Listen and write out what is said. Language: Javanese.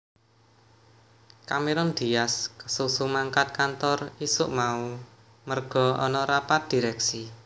Cameron Diaz kesusu mangkat kantor isuk mau merga ana rapat direksi